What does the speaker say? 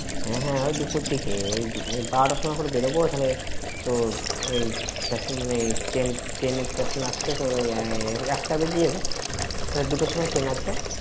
হ্যাঁ হ্যাঁ ওই দুপুর দিকে, বেরবো ওখানে তোর এই, station~ এ train এর station আস্তে তোর ওই এ~ এক~ একটা বেজে যাবে। তোর দুটোর সময় train আছে।